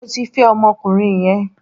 Mo ti fẹ́ ọmọkùnrin yẹn